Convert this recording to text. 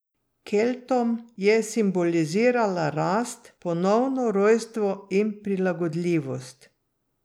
Keltom je simbolizirala rast, ponovno rojstvo in prilagodljivost.